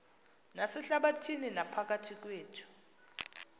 nasehlabathini naphakathi kwethu